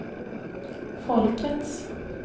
folkets